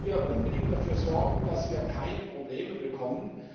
wir müssen hier unbedingt dafür sorgen, dass wir keine Probleme bekommen.